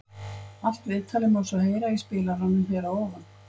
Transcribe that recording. Allt viðtalið má svo heyra í spilaranum hér að ofan.